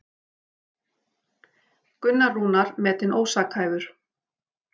Gunnar Rúnar metinn ósakhæfur